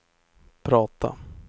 prata